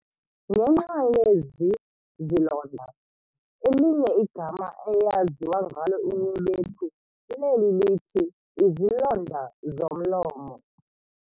Ngenxa yezi zilonda, elinye igama eyaziwa ngalo inyebetu leli lithi "izilonda zomlomo".